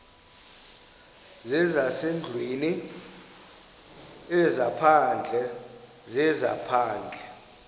zezasendlwini ezaphandle zezaphandle